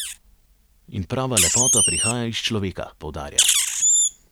In prava lepota prihaja iz človeka, poudarja.